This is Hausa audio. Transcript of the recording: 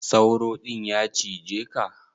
Sauro din ya cije ka?